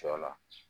Sɔ la